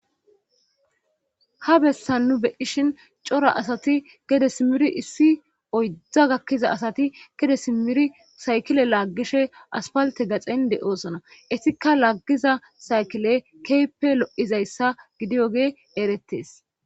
ha bessan nu beishin cora asati gede simiri issi oydda gakkiza asati gede simiri saykile laaggishe aspalte gaxin de7oosona isika laggiza saykile keepe lo7izayssa gidiyoge erettes